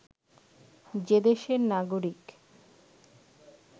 যে দেশের নাগরিক